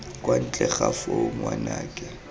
kwa ntle ga foo ngwanake